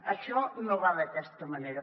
això no va d’aquesta manera